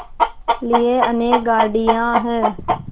लिए अनेक गाड़ियाँ हैं